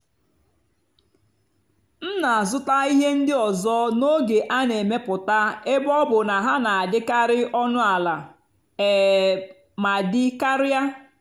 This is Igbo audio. m nà-àzụ́tá íhé ndí ọ́zọ́ n'ógè á nà-èmepụ́tá ébé ọ́ bụ́ ná hà nà-àdì́karị́ ónú àlà um mà dì́ kàrị́á.